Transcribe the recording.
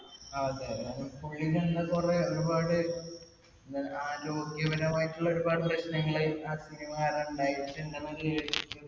അതെയതെ. കാരണം പുള്ളിടെ എന്തൊ കുറെ ഒരുപാട് പ്രശ്നങ്ങൾ ആ cinema കാരണം ഇണ്ടായിട്ടുണ്ടെന്ന്